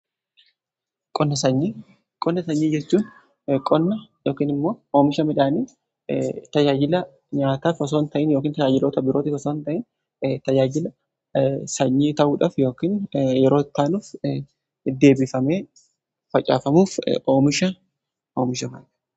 Qoonna sanyii jechuun yookiin immoo oomisha midhaanii tajaajila nyaataa osoon ta'in yookiin tajaajiloota birootif osoon taane tajaajila sanyii ta'uudhaaf yookiin yeroo taanuuf deebifamee facaafamuuf oomisha oomishamudha.